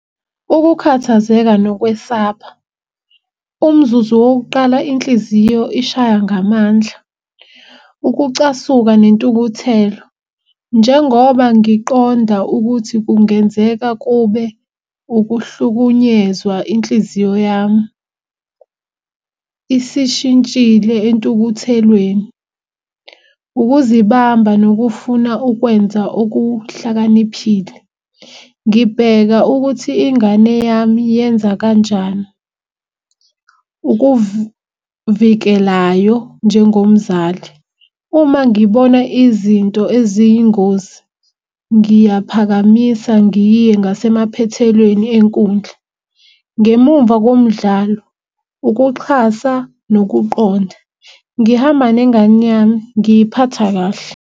Ukukhathazeka nokwesaba, umzuzu wokuqala inhliziyo ishaya ngamandla. Ukucasuka nentukuthelo, njengoba ngiqonda ukuthi kungenzeka kube ukuhlukunyezwa. Inhliziyo yami isishintshile entukuthelweni. Ukuzibamba nokufuna ukwenza okuhlakaniphile. Ngibheka ukuthi ingane yami yenza kanjani. Ukuvikelayo njengomzali, uma ngibona izinto eziyingozi ngiyaphakamisa ngiye ngasemaphethelweni enkundla, ngemumva komdlalo. Ukuxhasa nokuqonda, ngihamba nengane yami ngiyiphatha kahle.